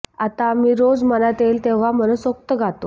आता आम्ही रोज मनात येईल तेव्हा मनसोक्त गातो